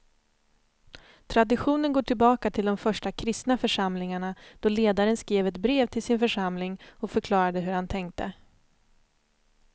Traditionen går tillbaka till de första kristna församlingarna då ledaren skrev ett brev till sin församling och förklarade hur han tänkte.